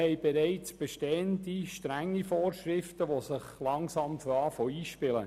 Wir haben bereits strenge Vorschriften, die sich langsam einzuspielen beginnen.